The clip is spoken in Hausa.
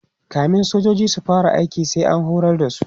kamin sojoji su fara aiki sai an horar da su